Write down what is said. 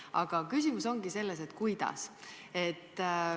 Aga küsimus ongi selles, kuidas.